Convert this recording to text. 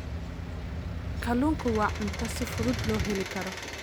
Kalluunku waa cunto si fudud loo heli karo.